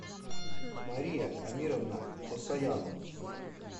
мария амировна осояну